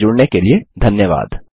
हमसे जुड़ने के लिए धन्यवाद